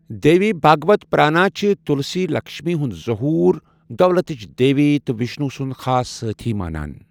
دیوی بھاگوت پرانا چھِ تُلسی لکشمی ہُنٛد ظہور، دولتٕچ دیوی تہٕ وِشنو سُنٛد خاص سٲتھی مانان۔